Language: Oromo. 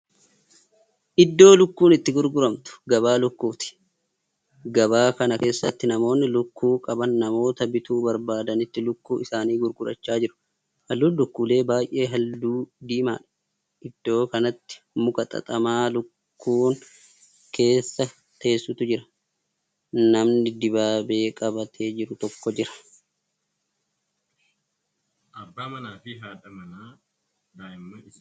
Iddoo lukku itti gurguramtu gabaa lukkuuti. gabaa kana keessatti namoonni lukkuu qaban namoota bituu barbaadanitti lukku isaanii gurgurachaa jiru. halluun lukkulee baay'ee halluu diimaadha. iddoo kanatti muka xaxamaa lukkuun keessa teessutu jira. namni dibaabee qabatee jiru tokko Jira.